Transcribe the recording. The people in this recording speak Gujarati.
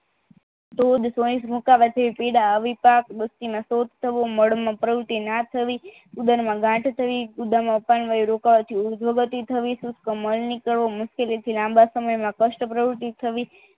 તો પીડા અવિપાદ થવું મળમાં પ્રવૃત્તિ ના થવી ઉદરમાં ગાંઠ થવી ઉદરમા રોકવાથી ઉધોગતિ થવી શુસ્ક મળ નીકળવો મુસકેલી થી લાંબા સમયમાં કસ્ટ પ્રવૃતિ થવી